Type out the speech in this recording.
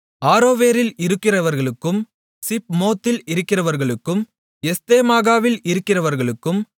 ஆரோவேரில் இருக்கிறவர்களுக்கும் சிப்மோத்தில் இருக்கிறவர்களுக்கும் எஸ்தேமோகாவில் இருக்கிறவர்களுக்கும்